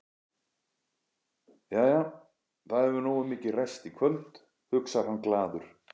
Jæja, það hefur nógu mikið ræst í kvöld, hugsar hann glaður.